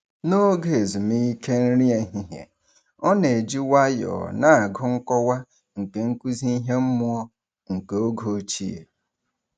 N'oge ezumike nri ehihie, ọ na-eji nwayọọ na-agụ nkọwa nke nkụzi ihe mmụọ nke oge ochie.